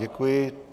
Děkuji.